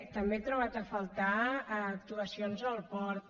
també he trobat a faltar actuacions al port